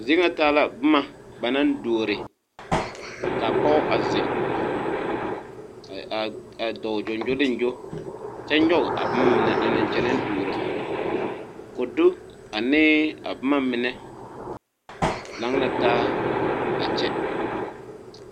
A zie ŋa taa la bomma ba naŋ duore kaa pɔge a zeŋ a dɔɔ gyongyoliŋgyo kyɛ nyoge a bomma mine a nang kyɛnɛ duoro kodu anee a bomma mine lang la taa a kyɛ.